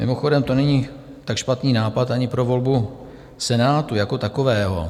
Mimochodem, to není tak špatný nápad ani pro volbu Senátu jako takového.